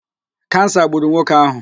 Kansa gburu nwoke ahụ